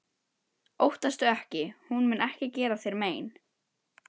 Óttastu ekki- hún mun ekki gera þér mein.